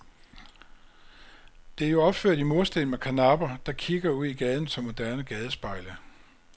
Det er jo opført i mursten med karnapper, der kigger ud i gaden som moderne gadespejle.